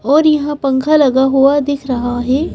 और यहाँ पंखा लगा हुआ दिख रहा है।